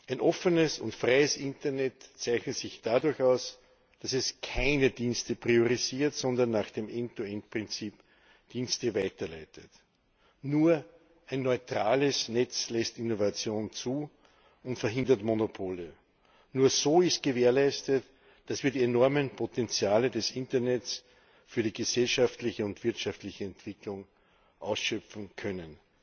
Ein offenes und freies Internet zeichnet sich dadurch aus, dass es keine Dienste priorisiert, sondern nach dem End to end Prinzip Dienste weiterleitet. Nur ein neutrales Netz lässt Innovation zu und verhindert Monopole. Nur so ist gewährleistet, dass wir die enormen Potenziale des Internets für die gesellschaftliche und wirtschaftliche Entwicklung ausschöpfen können.